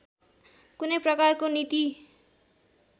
कुनै प्रकारको नीति